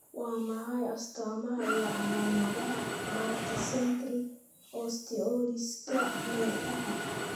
Waa maxay astamaha iyo calaamadaha Multicentric osteolysiska nerfaha?